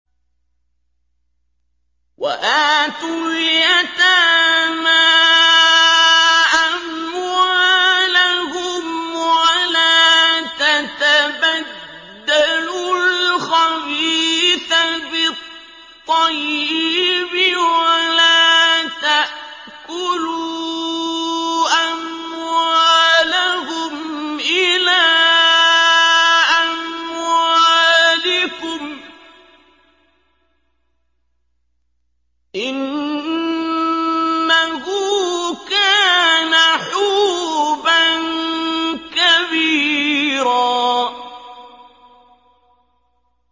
وَآتُوا الْيَتَامَىٰ أَمْوَالَهُمْ ۖ وَلَا تَتَبَدَّلُوا الْخَبِيثَ بِالطَّيِّبِ ۖ وَلَا تَأْكُلُوا أَمْوَالَهُمْ إِلَىٰ أَمْوَالِكُمْ ۚ إِنَّهُ كَانَ حُوبًا كَبِيرًا